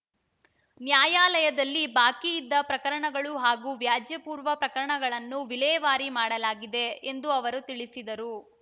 ನ್ಯಾಯಾಲಯದಲ್ಲಿ ಬಾಕಿ ಇದ್ದ ಪ್ರಕರಣಗಳು ಹಾಗೂ ವ್ಯಾಜ್ಯ ಪೂರ್ವ ಪ್ರಕರಣಗಳನ್ನು ವಿಲೇವಾರಿ ಮಾಡಲಾಗಿದೆ ಎಂದು ಅವರು ತಿಳಿಸಿದರು